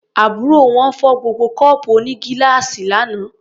Àbúrò wọn fọ́ gbogbo kọ́ọ̀pù onígíláàsì lánàá.